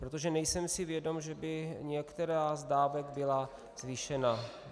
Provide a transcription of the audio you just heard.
Protože nejsem si vědom, že by některá z dávek byla zvýšena.